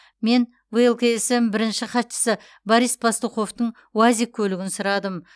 мен влксм бірінші хатшысы борис пастуховтың уазик көлігін сұрадым